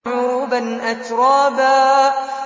عُرُبًا أَتْرَابًا